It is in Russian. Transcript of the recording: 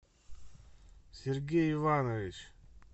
сергей иванович